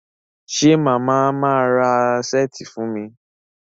ṣe Mama má rà Ṣẹ́ẹ̀tì fún mí?